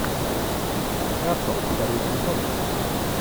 касл второй сезон